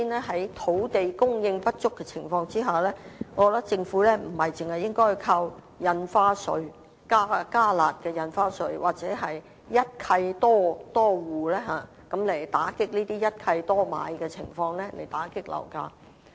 所以，在土地供應不足的情況下，首先，我認為政府不應該單靠"加辣"印花稅或推出針對一契多戶等措施，來打擊一契多買的情況和遏抑樓價。